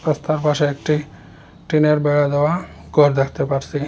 রাস্তার পাশে একটি টিনের বেড়া দেওয়া ঘর দেখতে পারসি।